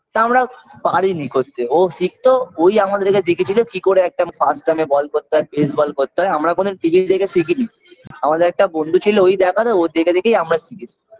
তা আমরা পারিনি করতে ও শিকতো ওই আমাদেরকে দেখিয়েছিল কি করে একটা first term -এ ball করতে হয় place ball করতে হয় আমরা কোন fitting থেকে শিখিনি আমাদের একটা বন্ধু ছিল ওই দেখাতো ওর দেখে দেখেই আমরা শিখেছি